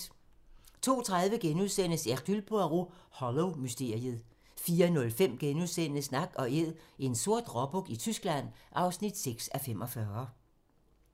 02:30: Hercule Poirot: Hollow-mysteriet * 04:05: Nak & Æd - en sort råbuk i Tyskland (6:45)*